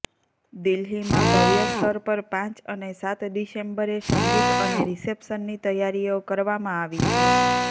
દિલ્હીમાં ભવ્ય સ્તર પર પાંચ અને સાત ડિસેમ્બરે સંગીત અને રિસેપ્શનની તૈયારીઓ કરવામાં આવી છે